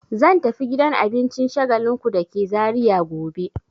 Zan tafi gidan abincin Shagalinku da ke Zariya gobe.